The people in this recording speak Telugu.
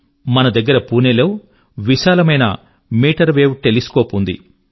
మన దగ్గర పూనే లో విశాలమైన మీటర్ వేవ్ టెలిస్కోప్ ఉంది